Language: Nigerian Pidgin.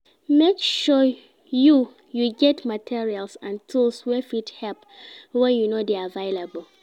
Make sure you you get materials and tools wey fit help when you no de available